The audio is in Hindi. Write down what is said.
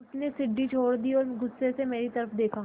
उसने सीढ़ी छोड़ दी और गुस्से से मेरी तरफ़ देखा